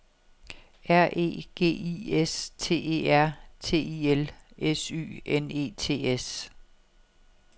R E G I S T E R T I L S Y N E T S